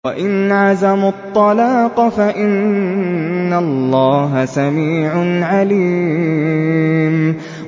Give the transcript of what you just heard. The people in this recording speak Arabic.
وَإِنْ عَزَمُوا الطَّلَاقَ فَإِنَّ اللَّهَ سَمِيعٌ عَلِيمٌ